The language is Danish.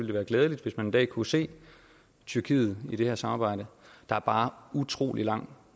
det være glædeligt hvis man en dag kunne se tyrkiet i det her samarbejde der er bare utrolig lang